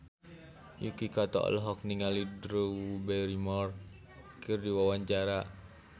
Yuki Kato olohok ningali Drew Barrymore keur diwawancara